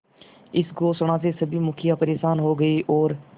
इस घोषणा से सभी मुखिया परेशान हो गए और